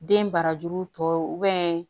Den barajuru tɔ